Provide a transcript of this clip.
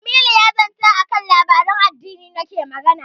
Jamilu ya zata a kan labaran addini nake magana.